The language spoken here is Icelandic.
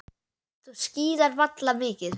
Þú skíðar varla mikið.